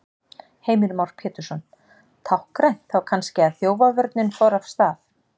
Heimir Már Pétursson: Táknrænt þá kannski að þjófavörnin fór af stað?